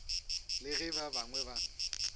le ge ba bangwe ba